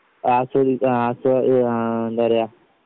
ആസ്വദി ആസ്വാധ ആഹ് എന്താ പറയാ